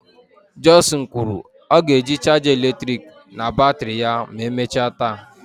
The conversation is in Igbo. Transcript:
Johnson kwuru " ọ ga-eji chaja eletrik na batrị ya ma emechaa taa."